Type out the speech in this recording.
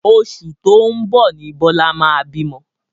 Oṣù tóun bọ̀ ni Bọlá máa bímọ.